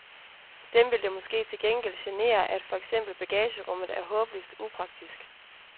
Dem vil det måske til gengæld genere, at for eksempel bagagerummet er håbløst upraktisk.